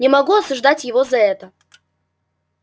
не могу осуждать его за это